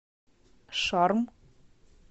шарм